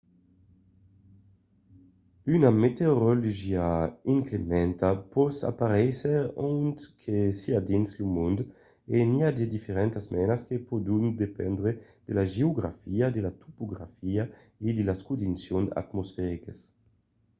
una meteorologia inclementa pòt aparéisser ont que siá dins lo mond e n'i a de diferentas menas que pòdon dependre de la geografia de la topografia e de las condicions atmosfericas